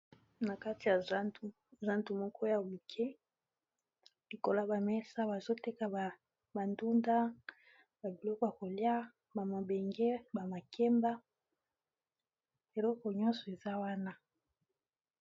na kati ya zantu moko ya buke likola bamesa bazoteka bandunda babiloka kolia bamabenge bamakemba eleko nyonso eza wana